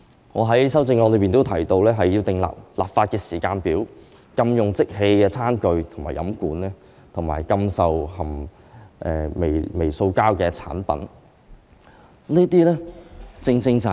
我在修正案中提到要制訂立法時間表，禁用即棄餐具及飲管，以及禁售含微塑膠的產品。